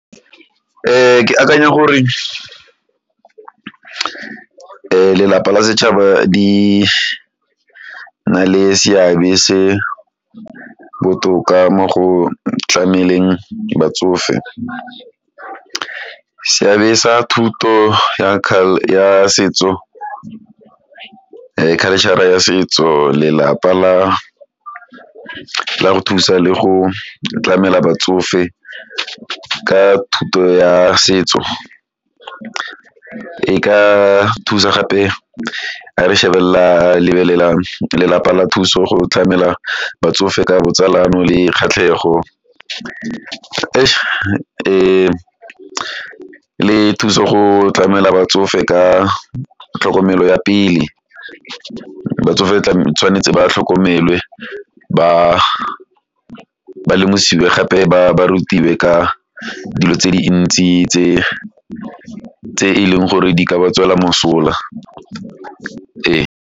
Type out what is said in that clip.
Ke akanya gore lelapa la setšhaba di na le seabe se botoka mo go tlameleng batsofe. Seabe sa thuto ya ya setso, culture ya setso lelapa la la go thusa le go tlamela batsofe ka thuto ya setso e ka thusa gape ga re shebelela lebelela lelapa la thuso go tlamela batsofe ka botsalano le kgatlhego le thuso go tlamela batsofe ka tlhokomelo ya pele, batsofe tshwanetse ba tlhokomelwe, ba ba lemosiwe gape ba rutiwe ka dilo tse dintsi tse tse e leng gore di ka ba tswela mosola, ee.